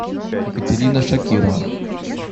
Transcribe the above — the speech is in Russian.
екатерина шакирова